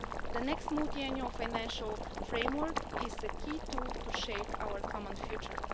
The next Multiannual Financial Framework is a key tool to shape our common future.